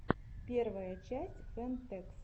первая часть фэн тэкс